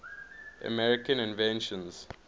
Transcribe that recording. american inventions